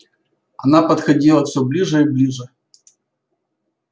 она подходила всё ближе и ближе